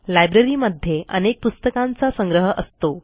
लायब्ररीमध्ये अनेक पुस्तकांचा संग्रह असतो